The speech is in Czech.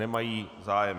Nemají zájem.